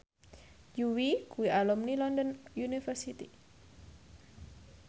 Yui kuwi alumni London University